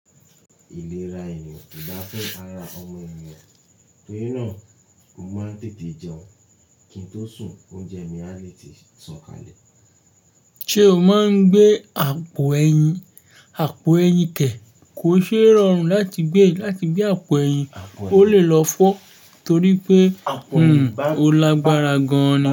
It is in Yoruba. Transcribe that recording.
Ìlera ènìyàn kò dá fún ara ọmọ ènìyàn, torí náà mo máa ń tètè jẹun kí n tó sùn, oúnjẹ mi a lè ti sọ̀kalẹ̀. Ṣé o máa ń gbé àpò ẹyin? Àpò ẹyin kẹ̀ kó ṣe rọrùn láti gbé, láti gbé àpò ẹyin, ó lè lọ fọ́ torí pé òun ó lágbára gan ni.